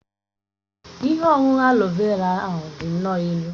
Ihe ọṅụṅụ aloe vera ahụ dị nnọọ ilu.